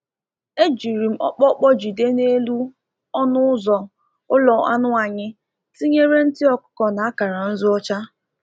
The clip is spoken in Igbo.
E jiri m ọkpọkpọ jide n’elu ọnụ ụzọ ụlọ anụ anyị, tinyere ntị ọkụkọ na akara nzu ọcha.